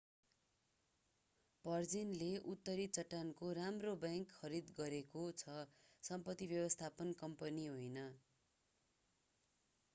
भर्जिनले उत्तरी चट्टानको राम्रो बैंक खरिद गरेको छ सम्पत्ति व्यवस्थापन कम्पनी होइन